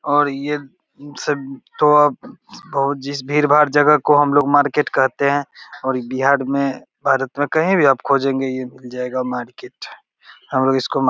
और ये सब तो अब बहुत जिस भीड़-भाड़ जगह को हमलोग मार्केट कहते हैं और बिहार में भारत में कहीं भी आप खोजेंगे ये मिल जायेगा मार्केट हमलोग इसको मा --